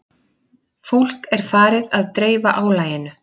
Fólk er farið að dreifa álaginu